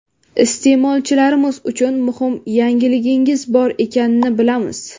Iste’molchilarimiz uchun muhim yangiligingiz bor ekanini bilamiz.